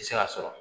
Tɛ se ka sɔrɔ